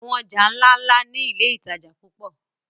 Àwọn ọjà ńláńlá ni iléìtajà púpọ̀.